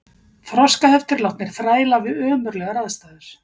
Þroskaheftir látnir þræla við ömurlegar aðstæður